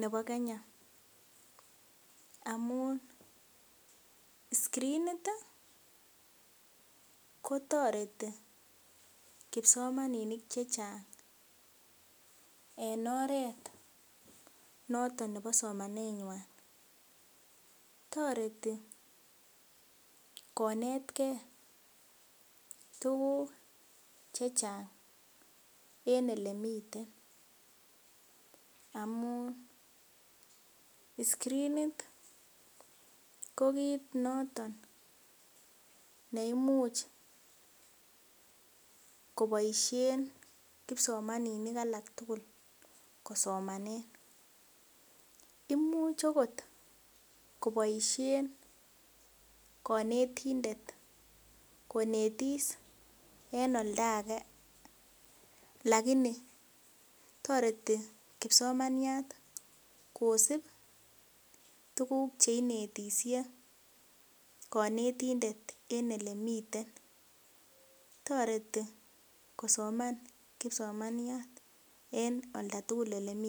nebo Kenya amun scrinit kotoreti kipsomaninik chechang en oret noton nebo somanet nywan toreti konetgee tuguk chechang en elemiten amun scrinit ko kit noton neimuch koboisien kipsomaninik alak tugul kosomanen imuch okot koboisien konetindet konetisiet en oldage lakini toreti kipsomaniat kosib tuguk chekinetisye konetindet en elemiten toreti kosoman kipsomaniat en oldatugul elemiten